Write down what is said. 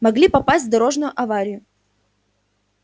могли попасть в дорожную аварию